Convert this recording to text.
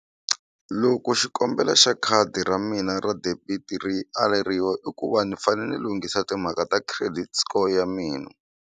Loko xikombelo xa khadi ra mina ra debit ri aleriwa i ku va ni fane ni lunghisa timhaka ta credit score ya mina.